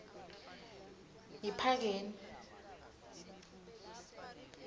yiphakeni